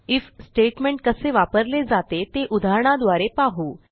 if statement कसे वापरले जाते ते उदाहरणाद्वारे पाहू